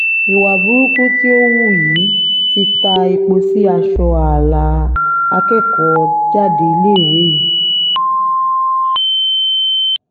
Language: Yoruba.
ìwà burúkú tí ó hù yìí ti ta epo sí aṣọ ààlà akẹ́kọ̀ọ́-jáde iléèwé yìí